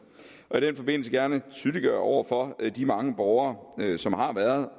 og i den forbindelse gerne tydeliggøre over for de mange borgere som har været